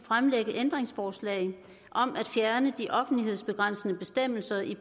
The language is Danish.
ændringsforslag om at fjerne de offentlighedsbegrænsende bestemmelser i